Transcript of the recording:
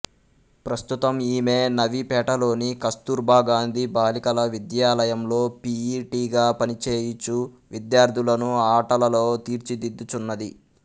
ప్రస్తుతం ఈమె నవీపేటలోని కస్తూర్బా గాంధీ బాలికల విద్యాలయంలో పి యి టిగా పనిచేయుచూ విద్యార్థులను ఆటలలో తీర్చిదిద్దుచున్నది